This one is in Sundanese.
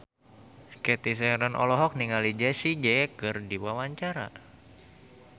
Cathy Sharon olohok ningali Jessie J keur diwawancara